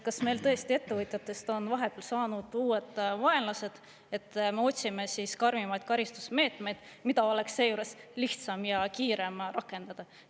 Kas meil tõesti ettevõtjatest on vahepeal saanud uued vaenlased, et me otsime karmimaid karistusmeetmeid, mida oleks seejuures lihtsam ja kiirem rakendada?